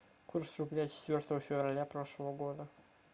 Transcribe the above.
курс рубля четвертого февраля прошлого года